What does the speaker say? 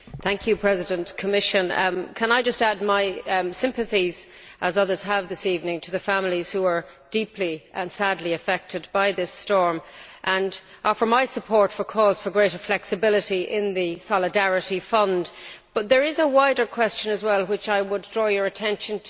Madam President, can I just add my sympathy, as others have this evening, to the families who are deeply and sadly affected by this storm, and offer my support for calls for greater flexibility in the Solidarity Fund. But there is a wider question as well to which I would draw your attention.